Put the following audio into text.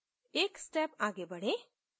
एक step आगे बढ़ें